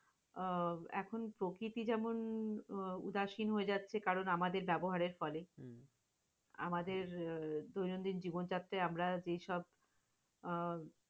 আহ এখন প্রকৃতি যেমন উদাসীন হয়ে যাচ্ছে কারণ আমাদের ব্যবহারের ফলে। আমাদের দৈনন্দিন জীবনযাত্রাই আমরা যেইসব আহ